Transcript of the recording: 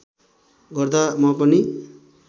गर्दा म पनि